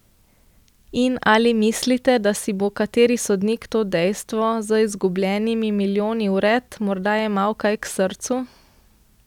In ali mislite, da si bo kateri sodnik to dejstvo, z izgubljenimi milijoni vred, morda jemal kaj k srcu?